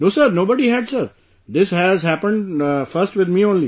No sir, nobody had sir, this has happened first with me only